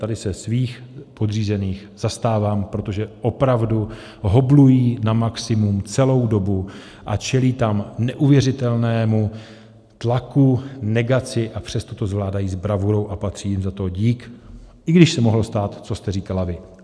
Tady se svých podřízených zastávám, protože opravdu hoblují na maximum celou dobu a čelí tam neuvěřitelnému tlaku, negaci, a přesto to zvládají s bravurou a patří jim za to dík, i když se mohlo stát, co jste říkala vy.